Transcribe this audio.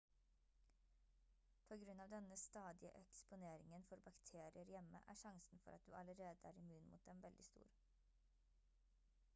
på grunn av denne stadige eksponeringen for bakterier hjemme er sjansen for at du allerede er immun mot dem veldig stor